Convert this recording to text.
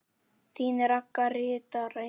Þín Ragga ritari.